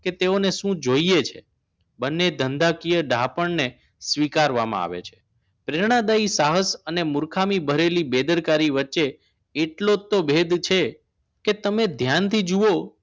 કે તેઓને શું જોઈએ છે બંને ધંધાકીય ડાપણને સ્વીકારવામાં આવે છે પ્રેરણના ડાઈ સાહસ અને મૂર્ખામી ભરેલી બેદરકારી વચ્ચે એટલો જ તો ભેદ છે કે તમે ધ્યાનથી જુઓ